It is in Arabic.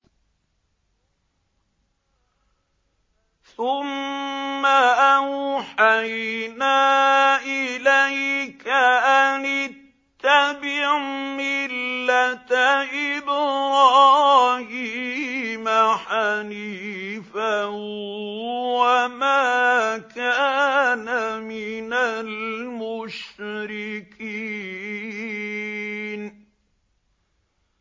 ثُمَّ أَوْحَيْنَا إِلَيْكَ أَنِ اتَّبِعْ مِلَّةَ إِبْرَاهِيمَ حَنِيفًا ۖ وَمَا كَانَ مِنَ الْمُشْرِكِينَ